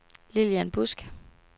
Lilian Busk